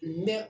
Mɛ